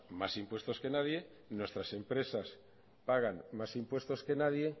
más impuestos que nadie y nuestras empresas pagan más impuestos que nadie